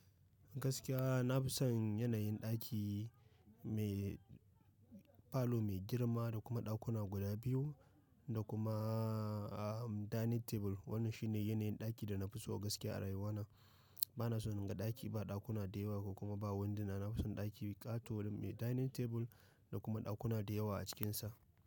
Gaskiya na fi son yanayin ɗaki mai falo mai girma da kuma ɗakuna guda biyu da kuma dining table. Wannan shi ne yanayin ɗaki da na fi so gaskiya a rayuwana. Ba na so in ga ɗaki ba ɗakuna da yawa ko kuma ba wundo. Na fi son ɗaki ƙato me dining table da kuma ɗakuna da yawa a cikinsa.